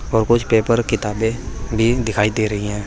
और कुछ पेपर किताबें भी दिखाई दे रही हैं।